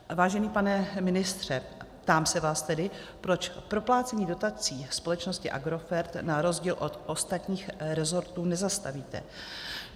Vážený pane ministře, ptám se vás tedy, proč proplácení dotací společnosti Agrofert, na rozdíl od ostatních resortů, nezastavíte.